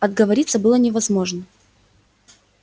отговориться было невозможно